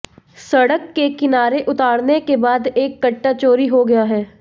सड़क के किनारे उतारने के बाद एक कट्टा चोरी हो गया है